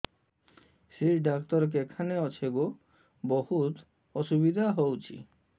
ଶିର doctor କେଖାନେ ଅଛେ ଗୋ ବହୁତ୍ ଅସୁବିଧା ହଉଚି